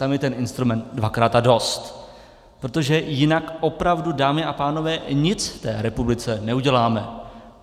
Tam je ten instrument dvakrát a dost, protože jinak opravdu, dámy a pánové, nic v té republice neuděláme!